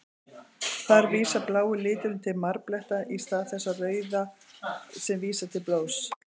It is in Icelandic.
Þar vísar blái liturinn til marbletta, í stað þess rauða sem vísar til blóðs.